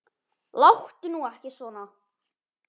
Láttu nú ekki svona.